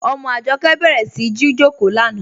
Ọmọ Ajọkẹ bẹ̀rẹ̀ sí jìjọkò lánà.